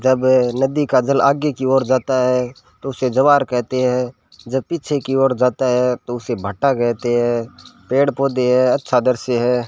जब नदी का जल आगे की ओर जाता है तो उसे ज्वार कहते है जब पीछे की ओर जाता है तो उसे भांटा कहते है पेड़ पौधे है अच्छा दृश्य है।